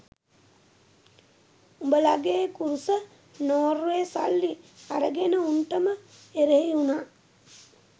උබලගේ කුරුස නොර්වේ සල්ලි අරගෙන උන්ටම එරෙහි උනා